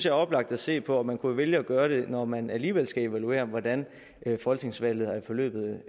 er oplagt at se på og man kunne jo vælge at gøre det når man alligevel skal evaluere hvordan folketingsvalget er forløbet